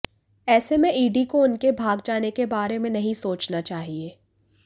ऐसे में ईडी को उनके भाग जाने के बारे में नहीं सोचना चाहिए